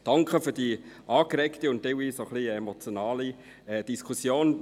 Danke für diese angeregte und teilweise auch ein wenig emotionale Diskussion.